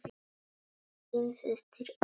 Þín systir, Erla.